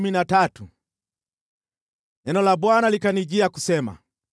Neno la Bwana likanijia kusema: